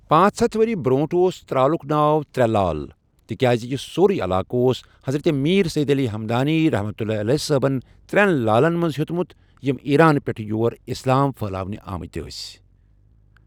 پانٛژ ہَتھ ؤری برٛونٛٹھ اوس ترٛالُک ناو ترٛےٚ لال تہِ کیازِ یہ سۄری علاقہٕ اوس حضرت میٖر سید علی ہمدانیؒ صٲبن ترٚؠن لالن منٛز ہؠوتمُت یِم ایٖران پؠٹھ یور اِسلام پھٔہلاونہِ آمٕتۍ ٲسۍ